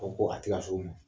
O ko a tɛ ka se o mɔ